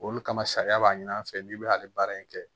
Olu kama sariya b'a ɲini an fɛ n'i bɛ hali baara in kɛ